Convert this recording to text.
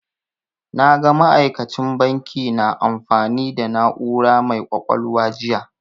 Na ga ma'aikacin banki na amfani da na'ura mai ƙwaƙwalwa jiya.